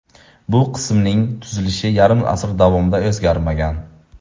Bu qismning tuzilishi yarim asr davomida o‘zgarmagan.